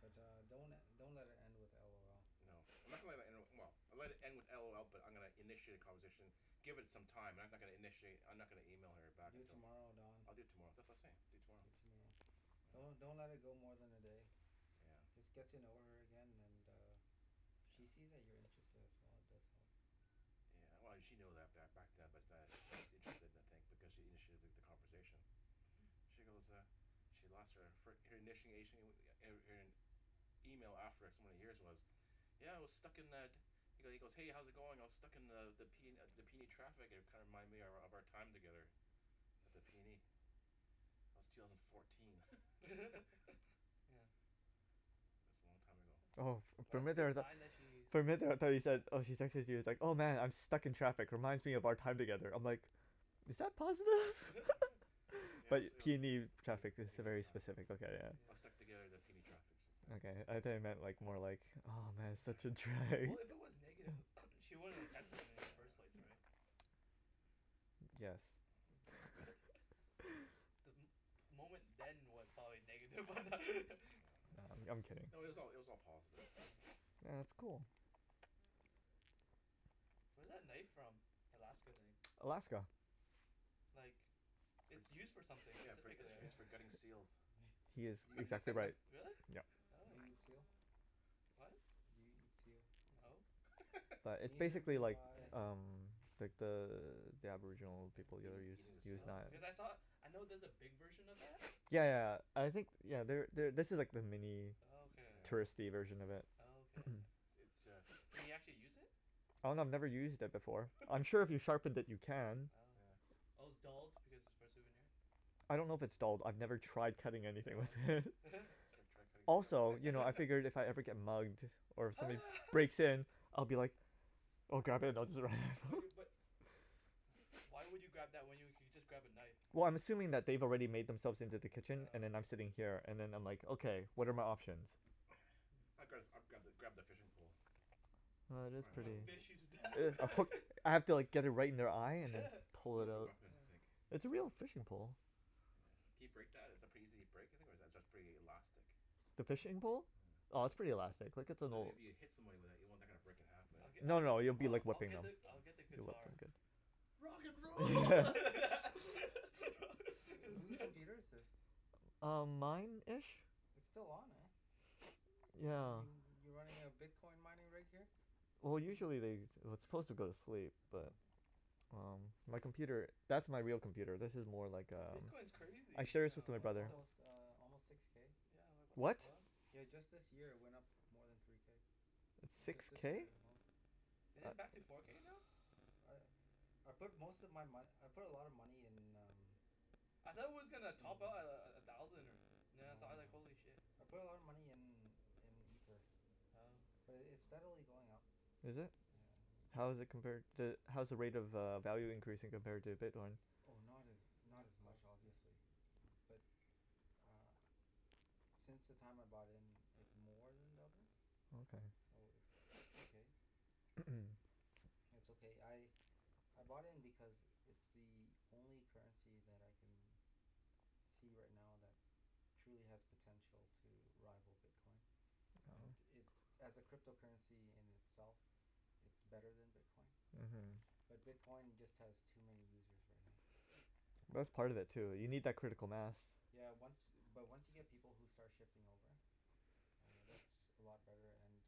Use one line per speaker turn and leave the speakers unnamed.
but uh don't le- don't let it end with LOL
No I'm not gonna le- let it end, well I'll let it end with LOL but I'm gonna initiate a conversation Give it some time I'm no- not gonna initiate I'm not gonna email her back
Do it
until
tomorrow Don
I'll do it tomorrow that's what I was saying I'll do it tomorrow
Do it tomorrow
yeah
Don't don't let it go more than a day
yeah
Just get to know her again and uh if she
yeah
sees that you're interested as well it does help
Yeah well she know that ba- back yeah but that she's interested in a thing because she initiated th- the conversation she goes uh She lost her fir- her initiation er er her email after so many years was yeah I was stuck in the He he goes hey how's it going I was stuck in the the the P the PNE traffic and it kinda reminded me of of our time together at the PNE That was two thousand fourteen
yeah
It's a long time ago
Oh for
But
for a
that's a
minute there I
good
was like
sign that she's
For a minute there I though you said
yeah
oh she texted you it's like "oh man I'm stuck in traffic reminds me of our time together" I"m like is that positive?
yeah
Yeah it
but
was it was P
PNE traffic that's a
PNE
very
traffic
specific look at it.
I was stuck
yeah
together at the PNE traffic she says,
okay
yeah
I though you
yeah
meant like more like oh man such a
yeah we-
drag.
well if it was negative she
She wouldn't
wouldn't
have
have texted
texted
him i-
me in
in the
the
first
first
place
place right
yes
Hmm The mo- moment then was probably negative but that
Oh
I'm I'm kidding
No it was all it was
yeah
all positive right
yeah
so?
yeah that's cool
Where's that knife from the Alaska thing
Alaska
like
It's
It's used
for
for something
yeah its
specifically
for
yeah
its for
yeah
gutting seals
He is
Do you eat
exactly
seal?
right,
Really?
yup.
Oh
Do you eat seal?
What?
Do you eat seal?
no
But it's
Neither
basically
do
like
I
uh-huh
umm like the the aboriginal people
yeah
over there
eating
use
eating the
use
seals
Oh
knives
because I saw, I know there's a big version of that
yeah yeah I think you know there there this is the mini
Oh okay.
yeah
touristy version of it
Oh okay
It's uh
Can you actually use it?
Oh no I've never used it before, I'm sure if you
Oh
sharpen it you can.
Oh okay
yeah
Oh its dulled because it's for a souvenir
I don't know if its dulled I've never tried cutting anything with
Oh
it
okay
you should try cutting seal
Also you know I figured if I ever get mugged or
ho
somebody
ha
breaks in I'll be like oh God.
Bu- you but wh- why would you grab that when you you could just grab a knife
Well I'm assuming that they've already made themselves into the kitchen and
oh
then I'm sitting
yeah
here and them I'm like okay
oh
what are my options?
Hmm
I'd gra- I'd grab grab the fishing pole
Oh
It's
it is
I
probably
wanna
pretty
more wo-
fish you to death
more
I put I have to like get it right in their eye and then
More of a weapon I think
yeah
It's a real fishing pole.
Yeah can you break that is it pretty easy to break you think or is it pretty elastic
The fishing pole?
yeah
Oh it's pretty elastic, like it's an
So that
old
if
Hmm
you hit someone with that you don't want that to kinda break in half but
I'l-
No
I'll
no you'll
I-
be
I-
like
I'll
whipping
get
them
the I'll
Oh
get the
You'll whip them
guitar
good
Rock and roll
Who who's computer is this?
Um mine ish
It's still on eh
yeah
y- you running a bitcoin mining rig here?
Well
Hmm hmm
usually they it- it's suppose to go to sleep
oh
but um my
yup
computer that's my real computer this is more like
No
uh
bitcoin's
I
crazy
share this with my
yeah
no
it's
what
brother
the
almost uh almost six k
yeah like what the
what?
fuck
yeah just this year it went up more than three k
It's six
just
yeah
this
k?
year alone
Is it back to
uh
four k now?
I I put most of my mone- I put a lot of money in um
I thought it was gonna top
Mm
out a- a- at a thousand or now I
No
saw it I was like
no
holy shit
I put a lot of money in in ether
Oh okay
but it it's steadily going up
Is it?
yeah
yeah
How's it compared to how's the rate of uh value increasing compared to bitcoin?
Oh not as not
not
as much
close yeah
obviously bu- but ah since the time I bought in it more then doubled
okay
so it's it's okay It's okay I I bought in because it's the only currency that I can see right now that truly has potential to rival bitcoin and
oh
it, as a crypto currency in itself it's better then bitcoin
uh-huh
but bitcoin just has too many users right now
but that's part of it too you need that
yeah
critical mass
yeah once but once you get people who start shifting over uh that's a lot better and